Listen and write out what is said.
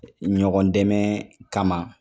Ɲɔgɔn dɛmɛ kama